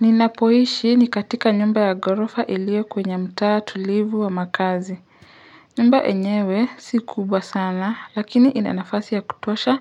Ninapoishi ni katika nyumba ya ghorofa iliyo kwenye mtaa tulivu wa makazi. Nyumba yenyewe si kubwa sana, lakini inanafasi ya kutosha